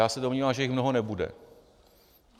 Já se domnívám, že jich mnoho nebude.